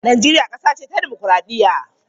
Najeriya kasa ce ta dimokraɗiyya.